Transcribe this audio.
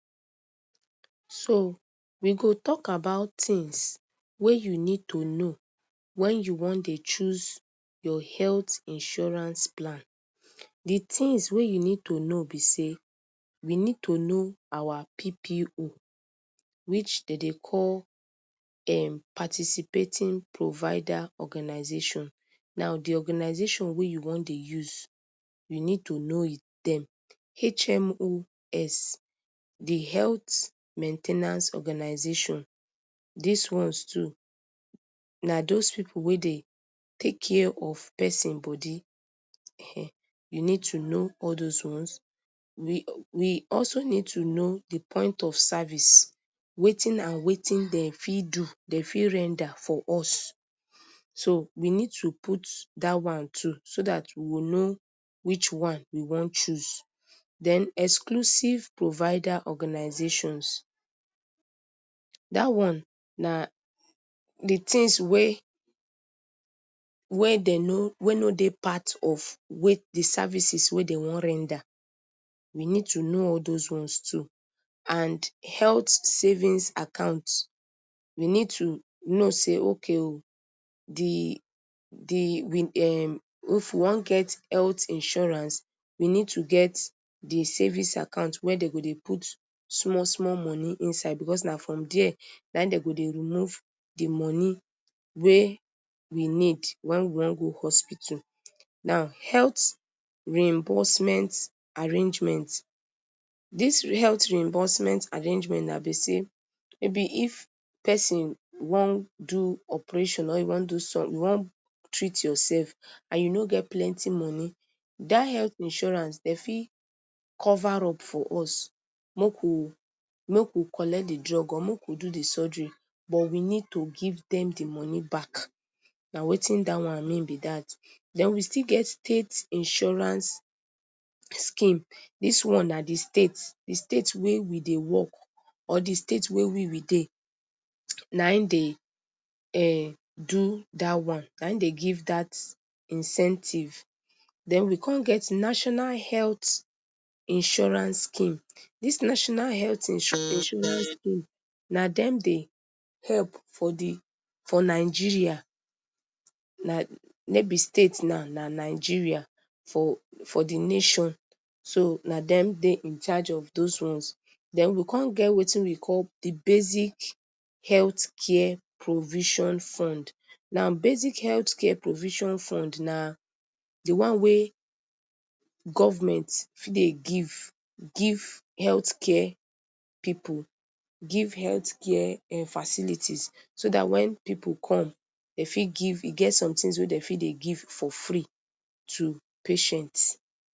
So, we go tok about tings wey you need to know wen you wan dey choose your health insurance plan. Di things wey you need to know be say, we need to know our PPO, which dey dey call um Participating Provider Organization. Now, di organization wey you wan dey use, you need to know it them. HMOs, di Health Main ten ance Organization. Dis ones too, na those people wey dey tek care of person bodi. Um you need to no all those ones. We we also need to know di point of sarvice, wetin and wetin dem fit do, dem fit render for us. So, we need to put dat one too so dat we will know which one we wan choose. Den Exclusive Provider Organizations. Dat one, na di tings wey, wey dem no, wey no dey part of, wey di sarvices wey dem wan render. We need to know all those ones too. And Heath Savings Account. We need to know say okay o, di di, we um if we wan get heath insurance, we need to get di savings account wen den go dey put small small money inside, becos na from dere, na dem go dey remove di money wey we need, wen wan go hospital. Now, Heath Reimbursement Arrangement. Dis heath reimbursement arrangement na be say, maybe if person wan do operation or you wan do some, you wan treat yourself, and you no get plenty money, dat heath insurance, dem fit cover up for us, mok wu, mok wu collect di drug or mok wu do di surgery, but we need to give dem di money back. Na wetin dat one mean be dat. Den we still get State Insurance Scheme. Dis one na di state, di state wey we dey work or di state wey we we dey, na im de um dey do dat one, na im dey give dat incentive. Den we come get National Healt Insurance Scheme. Dis National Healt Insurance Scheme, na dem dey help for di, for Nigeria, na no be state now, na Nigeria, for di for di nation. So, na dem dey in charge of those ones. Den we come get wetin we call di Basic Healt Care Provision Fund. Now, Basic Heath Care Provision Fund na, di one wey govment fit dey give, give heath care people, give heath care um facilities, so dat wen pipu come, dem fit give, e get some tins wey dem fit dey give for free to patient.